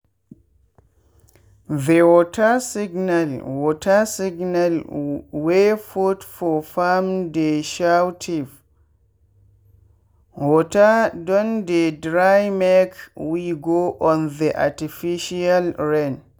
the water signal water signal wey put for farmdey shoutif water don dey drymake we go on the artificial rain.